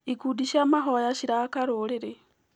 Ikundi cia mahoya ciraka rũrĩrĩ.